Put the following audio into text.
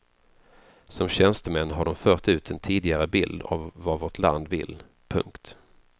Som tjänstemän har de fört ut en tidigare bild av vad vårt land vill. punkt